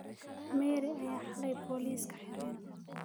Mary aya haley poliska xiren.